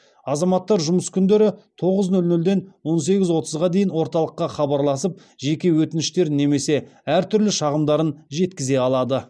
азаматтар жұмыс күндері тоғыз нөл нөлден он сегіз отызға дейін орталыққа хабарласып жеке өтініштерін немесе әртүрлі шағымдарын жеткізе алады